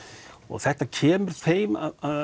þetta kemur þeim